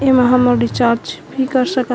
एमा हमन रिचार्ज कर सकत--